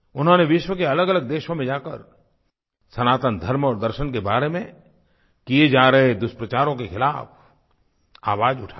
उन्होंने विश्व के अलगअलग देशों में जाकर सनातन धर्म और दर्शन के बारे में किए जा रहे दुष्प्रचारों के खिलाफ़ आवाज़ उठाई